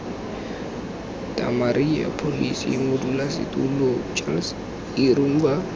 damaria pholosi modulasetulo charles irumba